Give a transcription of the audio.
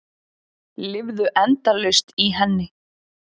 Lifðu endalaust í henni.